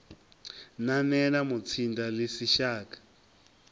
nanela mutsinda ḽi si shaka